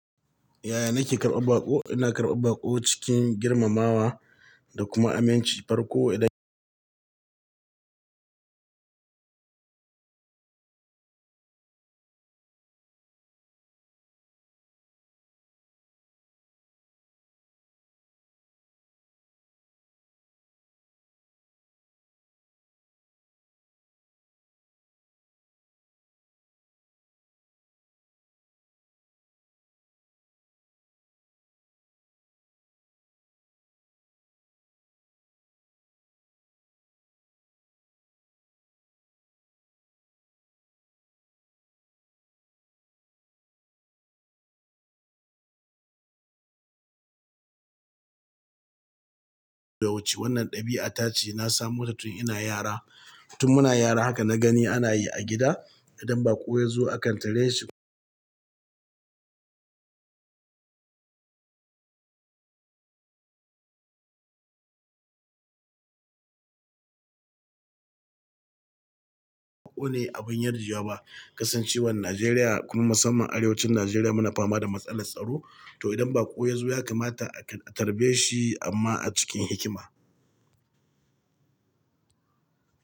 Yaya nake karɓar baƙo? Ina karɓar baƙo cikin girmamawa da kuma aminci. Farko idan- wannan ɗabi'a ta ce na samo ta tun ina yara. Tun muna yara haka na gani ana yi a gida. Idan baƙo ya zo akan tare shi- baƙo ne abin yarjewa ba, kasancewar Najeriya kuma musamman arewacin Najeriya muna fama da matsalar tsaro, to idan baƙo ya zo ya kamata a tarbe shi amma a cikin hikima.